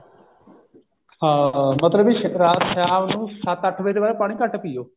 ਹਾਂ ਮਤਲਬ ਵੀ ਰਾਤ ਸ਼ਾਮ ਨੂੰ ਸੱਤ ਅੱਠ ਵੱਜੇ ਤੋ ਬਾਅਦ ਪਾਣੀ ਘੱਟ ਪਿਓ